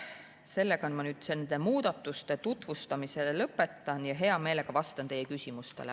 Sellega ma nüüd nende muudatuste tutvustamise lõpetan ja hea meelega vastan teie küsimustele.